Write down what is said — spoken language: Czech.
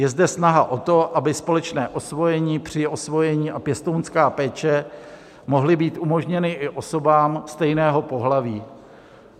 Je zde snaha o to, aby společné osvojení, přiosvojení a pěstounská péče mohly být umožněny i osobám stejného pohlaví.